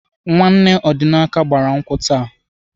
Nwanne Ọdịnaka gbara nkwụ taa.